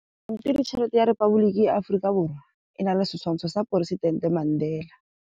Pampiritšheletê ya Repaboliki ya Aforika Borwa e na le setshwantshô sa poresitentê Mandela.